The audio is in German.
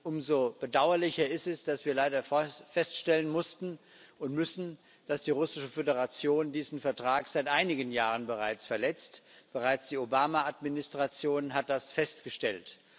Umso bedauerlicher ist es, dass wir leider feststellen mussten und müssen, dass die Russische Föderation diesen Vertrag seit einigen Jahren bereits verletzt bereits die Obama Administration hat das festgestellt.